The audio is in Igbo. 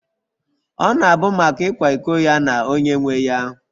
Ọ na-abụ maka ịkwa iko ya na onye nwe ya